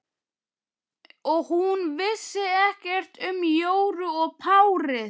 Og hún vissi ekkert um Jóru og párið.